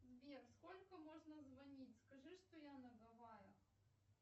сбер сколько можно звонить скажи что я на гавайях